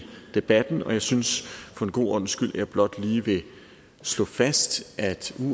debatten og jeg synes for god ordens skyld blot lige vil slå fast at